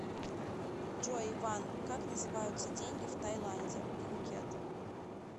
джой иван как называются деньги в тайланде пхукет